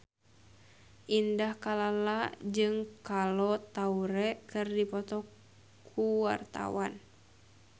Indah Kalalo jeung Kolo Taure keur dipoto ku wartawan